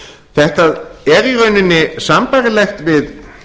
þetta er í rauninni sambærilegt við